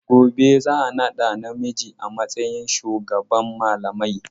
Gobe za a naɗa namiji a matsayin shugaban malamai.